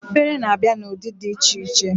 Efere na-abịa na ụdị dị iche iche